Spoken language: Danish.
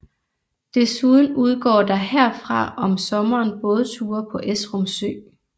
Desuden udgår der herfra om sommeren bådture på Esrum Sø